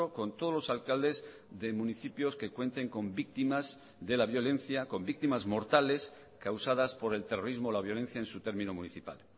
con todos los alcaldes de municipios que cuenten con víctimas de la violencia con víctimas mortales causadas por el terrorismo o la violencia en su término municipal